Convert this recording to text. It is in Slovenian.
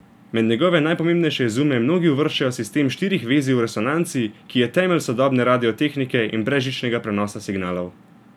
Med njegove najpomembnejše izume mnogi uvrščajo sistem štirih vezij v resonanci, ki je temelj sodobne radiotehnike in brezžičnega prenosa signalov.